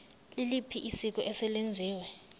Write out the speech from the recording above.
liliphi isiko eselenziwe